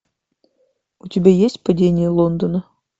у тебя есть падение лондона